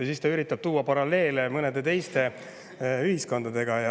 Ja siis ta üritab tuua paralleele mõne teise ühiskonnaga.